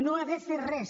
no ha de fer res